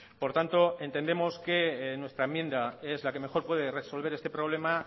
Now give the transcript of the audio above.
por tanto entendemos que nuestra enmienda es la que mejor puede resolver este problema